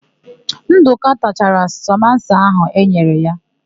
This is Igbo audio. Ndụka tachara samosa áhụ̀ e nyere ya.